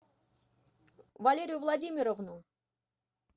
валерию владимировну